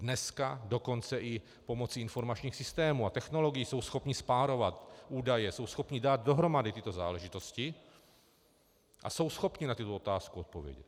Dneska dokonce i pomocí informačních systémů a technologií jsou schopni spárovat údaje, jsou schopni dát dohromady tyto záležitosti a jsou schopni na tuto otázku odpovědět.